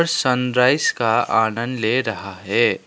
Sunrise का आनंद ले रहा है।